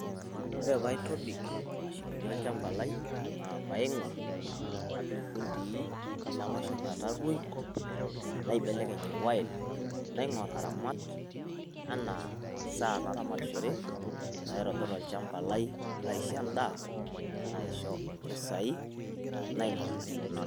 Ore paa aitobik imashinini olchamba lai naa paa aing'orr napik ifundii, namaisho metarruoi naibelekeny oil naaing'orr aramat enaa imasaa naramatishore naitobirr olchamba lai laisho endaa, naishoo impisai, naing'orr naramat.